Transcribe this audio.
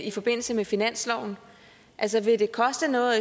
i forbindelse med finansloven altså vil det koste noget